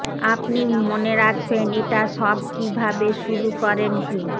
আপনি মনে রাখবেন এটা সব কিভাবে শুরু করেন কি